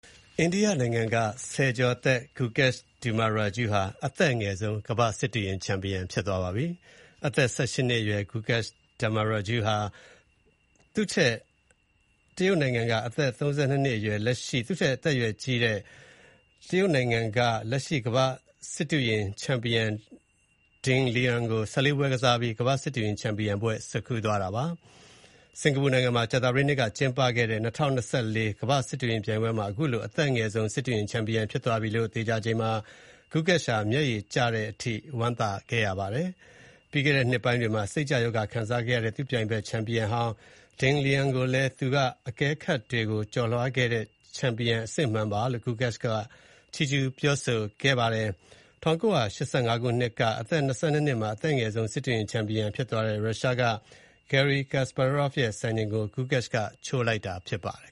အိန္ဒိယနိုင်ငံက ဆယ်ကျော်သက် Gukesh Dommaraju ဟာ အသက်အငယ်ဆုံး ကမ္ဘာ့စစ်တုရင် ချန်ပီယံ ဖြစ်သွားပါပြီ။ ၁၈ နှစ်အရွယ် Gukesh Dommaraju ဟာ သူ့ထက် ၁၄ နှစ်ကြီးတဲ့ တရုတ် နိုင်ငံက အသက် ၃၂ နှစ်အရွယ် လက်ရှိ ကမ္ဘာ့စစ်တုရင် ချန်ပီယံ Ding Liren ကို ၁၄ ပွဲကစားပြီး ကမ္ဘာ့စစ်တုရင် ချန်ပီယံဘွဲ့ကို ဆွတ်ခူးသွားတာပါ။ စင်ကာပူနိုင်ငံမှာ ကြာသပတေးနေ့ကကျင်းပခဲ့တဲ့ ၂၀၂၄ ကမ္ဘာ့စစ်တုရင်ပြိုင်ပွဲမှာ အခုလို အသက် အငယ်ဆုံး စစ်တုရင်ချန်ပီယံဖြစ်သွားပြီလို့သေချာချိန်မှာ Gukesh ဟာ မျက်ရည်ကျတဲ့အထိ ဝမ်းသာခဲ့ပါတယ်။ ပြီးခဲ့တဲ့ နှစ်ပိုင်းတွေမှာ စိတ်ကျရောဂါခံစားခဲ့ရတဲ့ သူ့ပြိုင်ဘက် ချန်ပီယံဟောင်း Ding Liren ကိုလည်း သူကသာ အခက်အခဲတွေကို ကျော်လွှားခဲ့တဲ့ ချန်ပီယံအစစ်အမှန်ပါလို့ Gukesh ချီးကျူးပြောခဲ့ပါတယ်။ ၁၉၈၅ ခုနှစ်က အသက် ၂၂ နှစ်မှာ အသက်အငယ်ဆုံး စစ်တုရင် ချန်ပီယံဖြစ်ခဲ့တဲ့ ရုရှားက Garry Kasparov ရဲ့စံချိန်ကို Gukesh ကချိုးလိုက်တာဖြစ်ပါတယ်